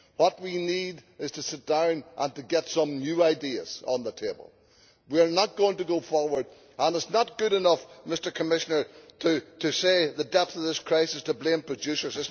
What we need is to sit down and to get some new ideas on the table. We are not going to go forward and it is not good enough, Mr Commissioner, in the depth of this crisis to blame producers